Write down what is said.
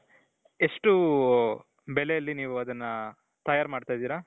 ಎಷ್ಟು ಬೆಲೆಯಲ್ಲಿ ನೀವು ಅದನ್ನ ತಯಾರು ಮಾಡ್ತಾ ಇದ್ದೀರಾ ?